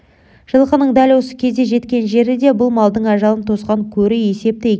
жылқының дәл осы кезде жеткен жері де бұл малдың ажалын тосқан көрі есепті екен